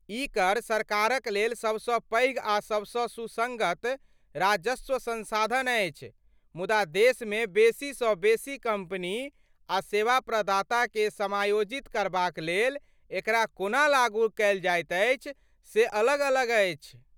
ई कर सरकारक लेल सबसँ पैघ आ सबसँ सुसङ्गत राजस्व संसाधन अछि मुदा देशमे बेसीसँ बेसी कम्पनी आ सेवा प्रदाताकेँ समायोजित करबाक लेल एकरा कोना लागू कयल जाइत अछि से अलग अलग अछि।